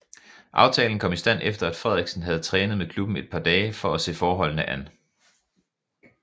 Aftalen kom i stand efter at Frederiksen havde trænet med klubben et par dage for at se forholdene an